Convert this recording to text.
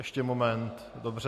Ještě moment, dobře.